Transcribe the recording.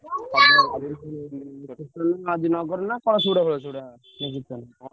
bgspeech